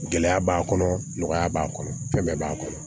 Gɛlɛya b'a kɔnɔ nɔgɔya b'a kɔnɔ fɛn bɛɛ b'a kɔnɔ